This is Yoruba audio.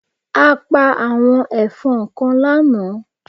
A pa àwọn èfọn kan lánàá